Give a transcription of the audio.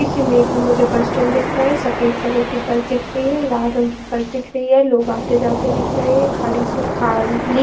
इस इमेज में मुझे बस स्टैंड दिख रहा है। सफ़ेद कलर की बस दिख रही है और लाल रंग की बस दिख रही है। लोग आते जाते दिख रहे हैं। खारी से खाली --